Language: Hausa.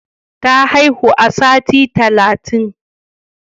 Ta haihu a sati talatin.